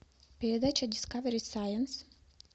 передача дискавери сайнс